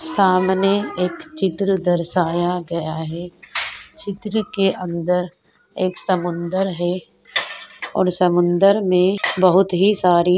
सामने एक चित्र दर्शाया गया है चित्र के अंदर एक समुन्दर है और समुन्दर में बहुत ही सारी --